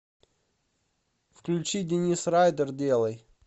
включи денис райдер делай